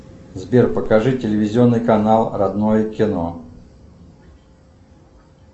сбер покажи телевизионный канал родное кино